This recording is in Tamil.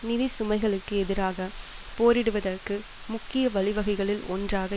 நிதிச்சுமைகளுக்கு எதிராக போரிடுவதற்கு முக்கிய வழிவகைகளில் ஒன்றாக